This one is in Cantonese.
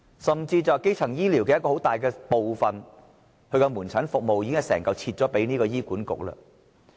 甚至基層醫療的一個主要部分，即門診服務都已全部分割給醫院管理局。